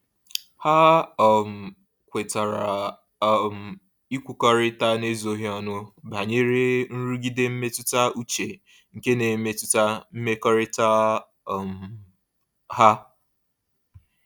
Ha um kwetara um ịkwukọrịta n'ezoghị ọnụ banyere nrụgide mmetụta uche nke n'emetụta mmekọrịta um ha.